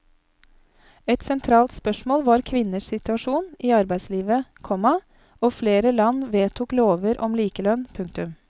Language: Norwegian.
Et sentralt spørsmål var kvinners situasjon i arbeidslivet, komma og flere land vedtok lover om likelønn. punktum